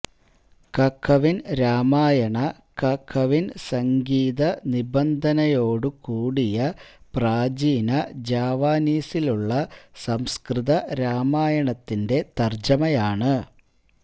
കകവിൻ രാമായണ കകവിൻ സംഗീതനിബന്ധനയോടു കൂടിയ പ്രാചീന ജാവാനീസിലുള്ള സംസ്കൃത രാമായണത്തിന്റെ തർജ്ജമയാണ്